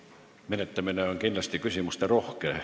Eelnõu menetlemine on kindlasti küsimusterohke.